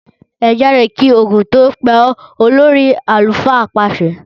Ẹ jáde kí Ògún tó pa ọ! Olórí àlùfáà pàsẹ.